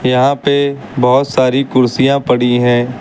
यहां पे बहोत सारी कुर्सियां पड़ी है।